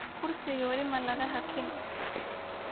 Kuriga wali malaxakin.